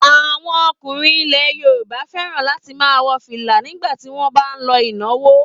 Àwọn ọkùnrin ilẹ̀ Yorùbá fẹ́ràn láti máa wọ fìlà nígbà tí wọ́n bá ń lọ ìnáwó.